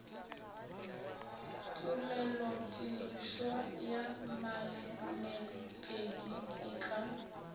polelotirišwa ya malemepedi e ka